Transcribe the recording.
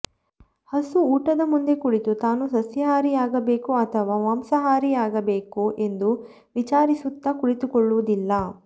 ಹಸು ಊಟದ ಮುಂದೆ ಕುಳಿತು ತಾನು ಸಸ್ಯಹಾರಿಯಾಗಿರಬೇಕೋ ಅಥವ ಮಾಂಸಾಹಾರಿಯಾಗಿರಬೇಕೋ ಎಂದು ವಿಚಾರಿಸುತ್ತಾ ಕುಳಿತುಕೊಳ್ಳುವುದಿಲ್ಲ